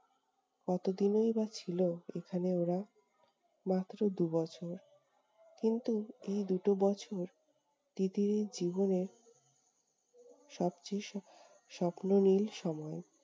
কত দিনই বা ছিল এখানে ওরা! মাত্র দু'বছর। কিন্তু এই দু'টো বছর তিতিরের জীবনের সবচেয়ে স~ স্বপ্ননীল সময়।